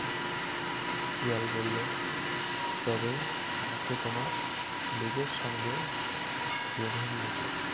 শিয়াল বলল তবে আমাকে তোমার নিজের সঙ্গে বেধে নিয়ে চল